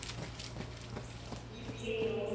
উম, সি নহব।